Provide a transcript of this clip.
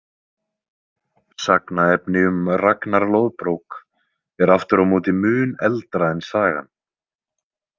Sagnaefni um Ragnar loðbrók er aftur á móti mun eldra en sagan.